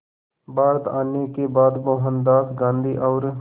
भारत आने के बाद मोहनदास गांधी और